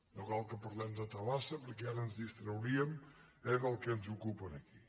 no cal que parlem de tabasa perquè ara ens distrauríem del que ens ocupa aquí